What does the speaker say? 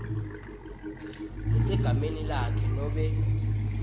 lesegameni lakhe nobe